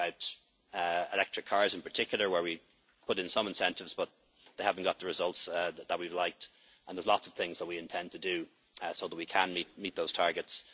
It's about electric cars, in particular, where we have put in some incentives, but have not got the results that we would like. There are lots of things that we intend to do so that we can meet those